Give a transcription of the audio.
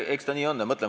Eks ta nii on.